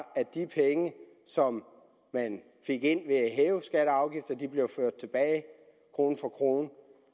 at de penge som man fik ind ved at hæve skatter og afgifter blev ført tilbage krone for krone